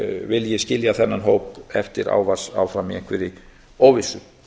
vilji skilja þennan hóp eftir í einhverri óvissu